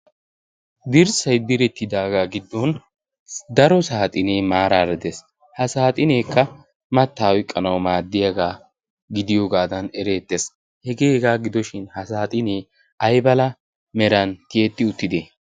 dirssay direttidaagaa giddon daro saaxinee maaraa ra ddees ha saaxineekka mattaa oiqqanau maaddiyaagaa gidiyoogaadan ereettees hegeeegaa gidoshin ha saaxinee aibala meran tiyetti uttidi?